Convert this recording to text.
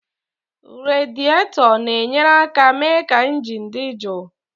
Radiétọ na-enyere aka mee ka injin dị jụụ